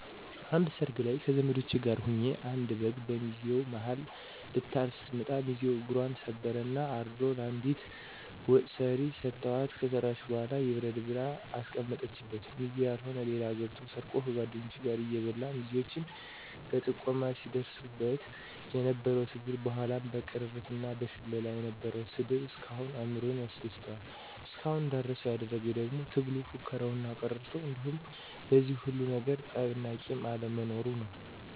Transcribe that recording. አንድ ሰርግ ላይ ከዘመዶቸ ጋር ሁኘ አንድ በግ በሚዜው ማሀል ልታልፍ ስትመጣ ሚዚው እግፘን ሰበረ እና አርዶ ለአንዲት ወጥ ሰሪ ሰተዋት ከሰራች በኋላ ይብረድ ብላ ከአስቀመጠችበት ሚዜ ያልሆነ ሌባ ገብቶ ሰርቆ ከጓድኞቹ ጋር እየበላ ሚዜዎች በጥቆማ ሲድርሱበት የነበረው ትግል በኋላ ደግሞ በቅርርት እና በሽለላ የነበረው ስድብ እስካሁን አእምሮየን ያስደስተዋል። እስካሁን እንዳረሳው ያደረግኝ ደግሞ ትግሉ፣ ፉከራው እና ቅርርቶው እንዲሁም በዚህ ሁሉ ነገር ጠብ እና ቂም አለመኖሩ ነው።